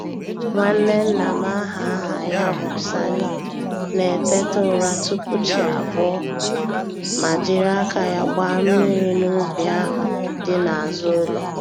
Nwanne nna m aha aha ya bụ Sani na-eteta ụra tupu chi abọọ, ma jiri aka ya gbaa mmiri n'ubi ahụ dị n'azụ ụlọ.